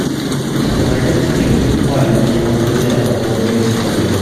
у тебя найдется фильм марвин и его друзья подводные истории